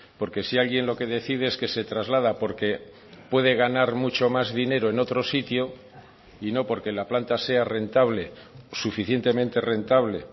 porque si alguien lo que decide es que se traslada porque puede ganar mucho más dinero en otro sitio y no porque la planta sea rentable suficientemente rentable